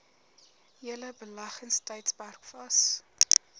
hele beleggingstydperk vas